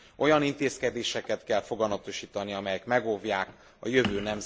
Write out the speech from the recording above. Olyan intézkedéseket kell foganatosítani, amelyek megóvják a jövő nemzedékeit is.